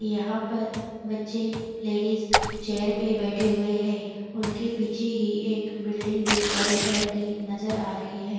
यहाँ पर बच्चे लेडीज चेयर पे बेठे हुए है उनके पीछे ही एक बिल्डिंग भी वाइट कलर की नज़र आ रही है।